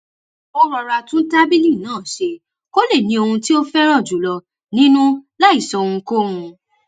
ó rọra tún tábìlì náà ṣe kó lè ní ohun tí ó féràn jù lọ nínú láì sọ ohunkóhun